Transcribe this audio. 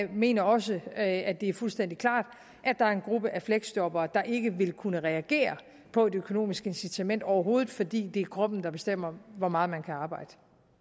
mener også at at det fuldstændig klart at der er en gruppe af fleksjobbere der ikke vil kunne reagere på et økonomisk incitament overhovedet fordi det er kroppen der bestemmer hvor meget man kan arbejde